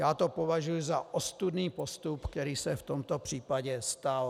Já to považuji za ostudný postup, který se v tomto případě stal.